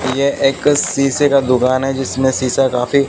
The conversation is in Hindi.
ये एक शीशे का दुकान है जिसमें शीशा काफी--